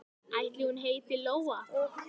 Ætli hún heiti Lóa?